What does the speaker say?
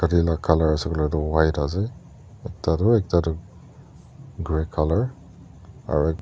colour aae koi le tu white ase ekda tui gray colour aro.